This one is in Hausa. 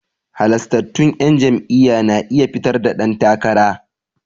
Halastattun 'yan jam'iyya na iya fitar da dan takara.